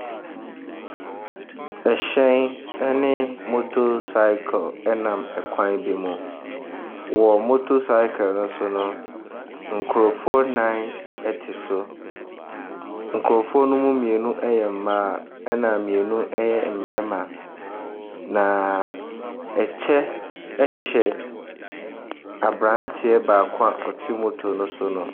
Hyɛn ne motorcycle nam kwan bi mu. Wɔ motor cycle no so no, nkurɔfoɔ nnan te so. Nkurɔfoɔ no mu mmienu yɛ mmaa, ɛnna mmienu yɛ mmarima, na kyɛ hyɛ aberanteɛ baako a ɔte motor no so no.